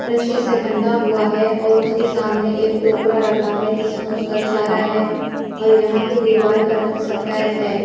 रस्सी से बंधा हुआ है और उसके सामने एक टोकरा रखा है जिसमें उसका चारा है और यहाँ की दीवार का रंग सफेद है।